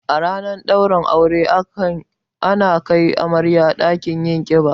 A ranar ɗaurin aure ana kai amarya ɗakin yin ƙiba